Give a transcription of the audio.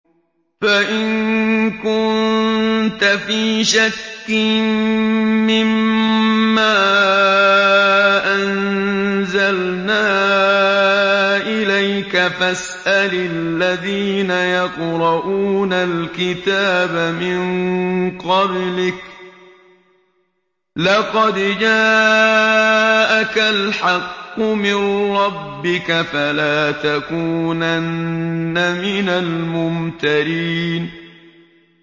فَإِن كُنتَ فِي شَكٍّ مِّمَّا أَنزَلْنَا إِلَيْكَ فَاسْأَلِ الَّذِينَ يَقْرَءُونَ الْكِتَابَ مِن قَبْلِكَ ۚ لَقَدْ جَاءَكَ الْحَقُّ مِن رَّبِّكَ فَلَا تَكُونَنَّ مِنَ الْمُمْتَرِينَ